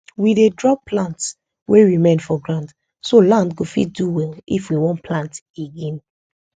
we dey drop plants wey remain for ground so land go fit do well if we wan plant again